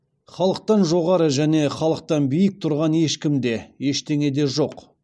халықтан жоғары және халықтан биік тұрған ешкім де ештеңе де жоқ